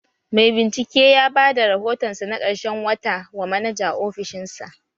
Mai bincike ya bada rahotonsa na ƙarshen wata wa manaja a ofishinsa.